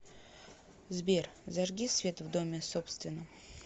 сбер зажги свет в доме собственном